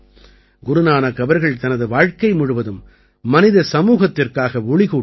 குருநானக் அவர்கள் தனது வாழ்க்கை முழுவதும் மனித சமூகத்திற்காக ஒளி கூட்டினார்